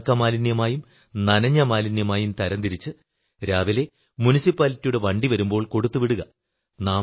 ഉണക്ക മാലിന്യമായും നനഞ്ഞ മാലിന്യമായും തരം തിരിച്ച് രാവിലെ മുനിസിപ്പാലിറ്റിയുടെ വണ്ടി വരുമ്പോൾ കൊടുത്തു വിടുക